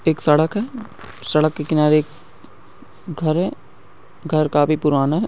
एक सड़क है सड़क के किनारे एक घर है घर काफी पुराना है।